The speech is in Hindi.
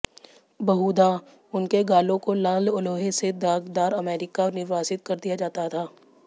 बहुधा उनके गालों को लाल लोहे से दागदार अमेरिका निर्वासित कर दिया जाता था